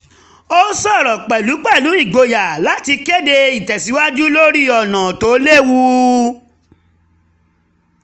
ó sọ̀rọ̀ pẹ̀lẹ́ pẹ̀lú ìgboyà láti kéde ìtẹ̀síwájú lórí ọ̀nà tó lewu